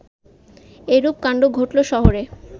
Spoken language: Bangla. এরূপ কাণ্ড ঘটল শহরে